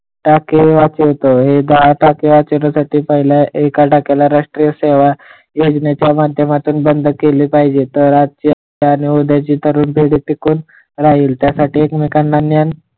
टाके वाचवतो ही टाके वाचवण्यासाठी पाहिलं एका टाक्याला राष्ट्रीय योजण्याच्या माध्यमातून बंद केले पाहिजे तर आजची आणि उद्याची टिकून राहील त्या साठी एकमेकांना,